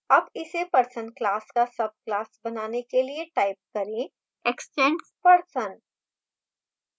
अब इसे person class का subclass बनाने के लिए type करें extends person